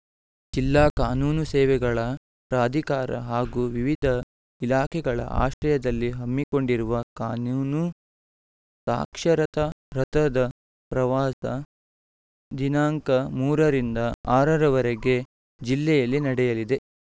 ಜಿಲ್ಲಾ ಕಾನೂನು ಸೇವೆಗಳ ಪ್ರಾಧಿಕಾರ ಹಾಗೂ ವಿವಿಧ ಇಲಾಖೆಗಳ ಆಶ್ರಯದಲ್ಲಿ ಹಮ್ಮಿಕೊಂಡಿರುವ ಕಾನೂನು ಸಾಕ್ಷರತಾ ರಥದ ಪ್ರವಾಸ ದಿನಾಂಕ ಮೂರರಿಂದ ಆರರವರೆಗೆ ಜಿಲ್ಲೆಯಲ್ಲಿ ನಡೆಯಲಿದೆ